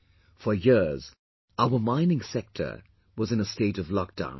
For years our mining sector was in a state of lockdown